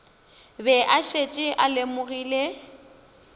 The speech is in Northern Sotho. be a šetše a lemogile